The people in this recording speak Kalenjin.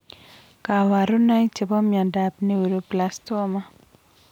Kaparunoik chepo miondap neuroblastoma